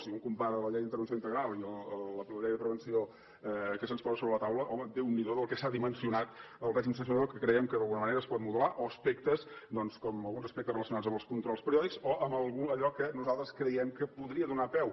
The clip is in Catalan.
si un compara la llei d’intervenció integral i la llei de prevenció que se’ns posa sobre la taula home déu n’hi do el que s’ha dimensionat el règim sancionador que creiem que d’alguna manera es pot modelar o aspectes doncs com alguns aspectes relacionats amb els controls periòdics o amb allò que nosaltres creiem que podria donar peu